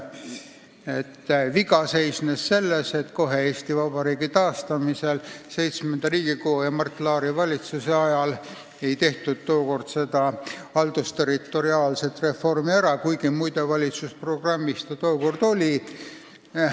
See viga seisnes selles, et kohe Eesti Vabariigi taastamisel, VII Riigikogu ja Mart Laari valitsuse ajal, ei tehtud ära haldusterritoriaalset reformi, kuigi, muide, valitsusprogrammis see tookord oli.